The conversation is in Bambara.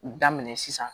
U daminɛ sisan